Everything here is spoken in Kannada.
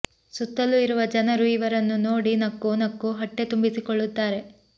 ಸುತ್ತಲು ಇರುವ ಜನರು ಇವರನ್ನು ನೋಡಿ ನಕ್ಕು ನಕ್ಕು ಹೊಟ್ಟೆ ತುಂಬಿಸಿಕೊಳ್ಳುತ್ತಾರೆ